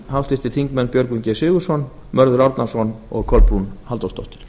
háttvirtir þingmenn björgvin g sigurðsson mörður árnason og kolbrún halldórsdóttir